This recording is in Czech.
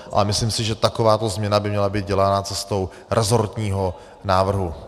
Ale myslím si, že takováto změna by měla být dělána cestou resortního návrhu.